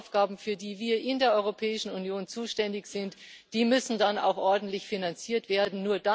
Aber die Aufgaben, für die wir in der Europäischen Union zuständig sind, müssen dann auch ordentlich finanziert werden.